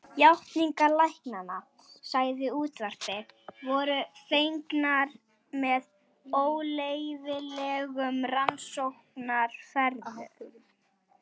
Játningar læknanna, sagði útvarpið, voru fengnar með óleyfilegum rannsóknaraðferðum.